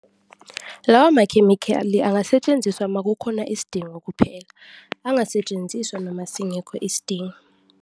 Lawa makhemikhali angasetshenziswa makukhona isidingo kuphela, angasetshenziswa noma singekho isidingo.